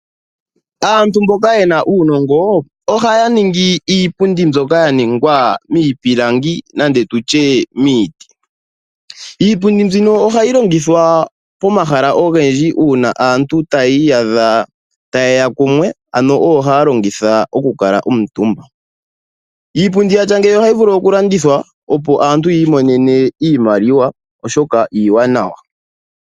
Aantu mboka yena uunongo ohaya ningi iipundi mbyoka ya ningwa miipilangi nenge tutye miiti. Iipundi mbino ohayi longithwa pomahala ogendji uuna aantu tayiiyadha ta yeya kumwe, ano oyo haa longitha oku kala omutumba. Iipundi yatya ngeyi ohayi vulu okulandithwa, opo aantu yiimonene iimaliwa oshoka iiwanawa.